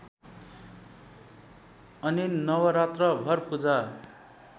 अनि नवरात्रभर पूजा